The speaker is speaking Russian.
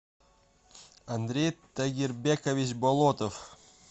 андрей тагирбекович болотов